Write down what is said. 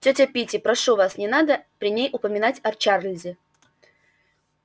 тётя питти прошу вас не надо при ней упоминать о чарлзе